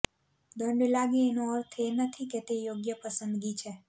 દંડ લાગે એનો અર્થ એ નથી કે તે યોગ્ય પસંદગી છે